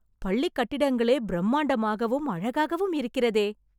பள்ளி கட்டிடங்களே பிரம்மாண்டமாகவும் அழகாகவும் இருக்கிறதே